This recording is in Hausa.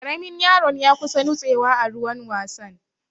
Ƙaramin yaron ya kusa nutsewa a ruwan wasan.